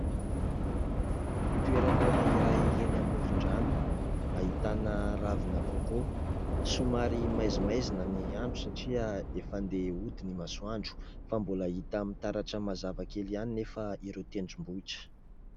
Toerana iray eny amoron-drano, ahitana ravina "coco". Somary maizimaizina ny andro satria efa andeha hody ny masoandro. Fa mbola hita mitaratra mazava kely ihany nefa ireo tendrombohitra.